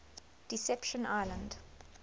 deception island